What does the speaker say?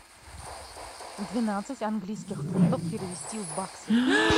двенадцать английских фунтов перевести в баксы